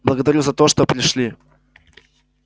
благодарю за то что пришли